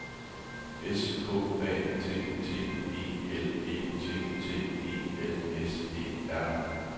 S K A T T E L E T T E L S E R